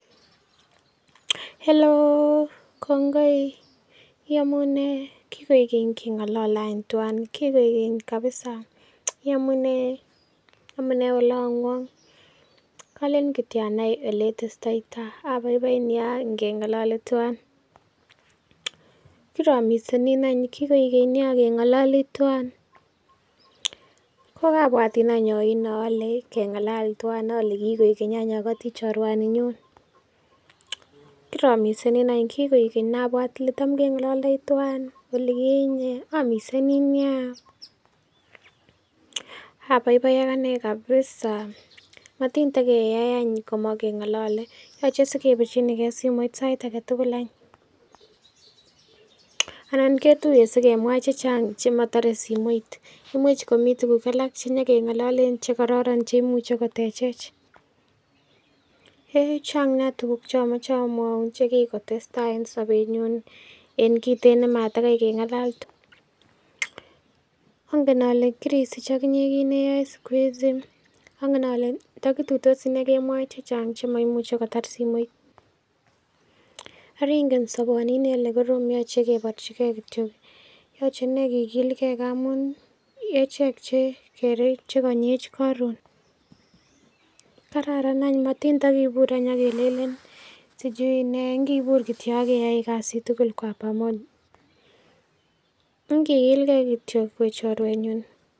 "Hellouw! kongoi iyomunee kigoik keng'olole any twan, kigoik keny kabisa yamunee? Amunee olong'wng? Kolen kityo anai ole itestoitoita, abaibai nyaa ngeng'olole twan, kiromisenin any, kigoik keny nyaa ngeng'olole twan, kogabwatin any oino ole keng'alal twan, ole kigoik keny any ogoti chorwani nyun, kiromisenin any kigoik keny, nabwat ole tam keng'ololdoi twan olikinye amisenin nya, abaibaiak anee kabisa matin takeyai any komokeng'olole yoche sikebirchini ge simoit sait age tugul any, anan ketuye sikemwa chechang chemotore simoit, imuch komi tuguk alak che nyokeng'ololen chekoron cheimuche kotechej, heeh! chaang nya tuguk che omoche amwaun che kigotestai en sobenyun en kiten nematakai keng'alal twan, ongen ole kirisich oginye kit neyoe siku hizi ongen ole ndokituitosi iney kemwoe chechang chemoimuche kotar simoit, oreingen soboni iney kole korom yoche keborechige kityo, yoche iney kigilge ngamun ichek che konyech koron, kararan any matiny tokibur any ak kelelen sijui ne ingibur kityo ak keyoe kasit tugul kwa pamoja, ingikilke kityo we chorwenyun."